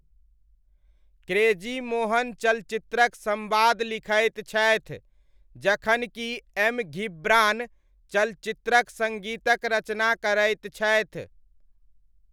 Crazy Mohan चलचित्रक सम्वाद लिखैत छथि जखन कि एम. घिब्रान चलचित्रक सङ्गीतक रचना करैत छथि।